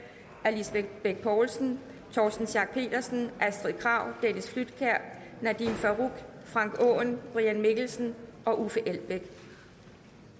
af lisbeth bech poulsen torsten schack pedersen astrid krag dennis flydtkjær nadeem farooq frank aaen brian mikkelsen og uffe elbæk